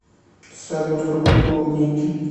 салют какой пол у нике